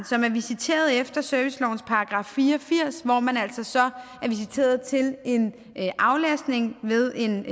som er visiteret efter servicelovens § fire og firs hvor man altså er visiteret til en aflastning ved en